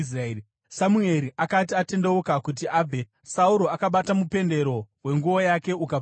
Samueri akati atendeuka kuti abve, Sauro akabata mupendero wenguo yake, ukabvaruka.